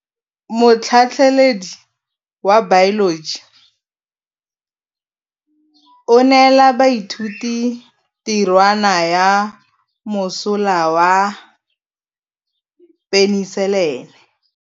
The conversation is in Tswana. Motlhatlhaledi wa baeloji o neela baithuti tirwana ya mosola wa peniselene.